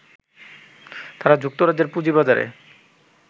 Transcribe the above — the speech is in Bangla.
তা যুক্তরাজ্যের পুঁজিবাজারে